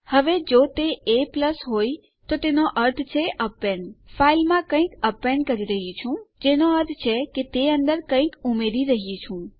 હવે જો તે a હોય તો તેનો અર્થ છે એપેન્ડ તો હું ફાઈલમાં કંઈક અપેન્ડ કરી રહ્યી છું જેનો અર્થ છે કે હું તે અંદર કંઈક ઉમેરી રહ્યી છું